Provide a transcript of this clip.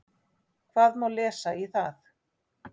Hvað má lesa í það?